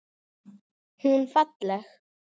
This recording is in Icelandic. Hún falleg.